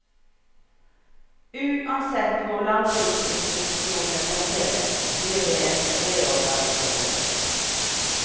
Uansett hvor landbruksinstitusjonene plasseres blir det en reorganisering.